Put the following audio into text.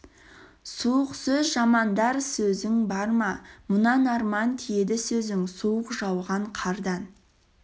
суық сөз жамандар сөзің бар ма мұнан арман тиеді сөзің суық жауған қардан